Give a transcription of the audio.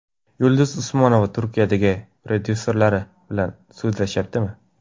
Yulduz Usmonova Turkiyadagi prodyuserlari bilan sudlashyaptimi?